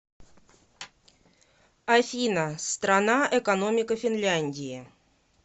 афина страна экономика финляндии